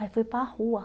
Aí foi para a rua.